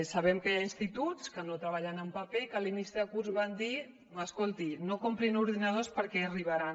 sabem que hi ha instituts que no treballen en paper i que a l’inici de curs van dir escolti no comprin ordinadors perquè ja arribaran